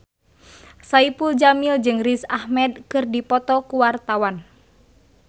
Saipul Jamil jeung Riz Ahmed keur dipoto ku wartawan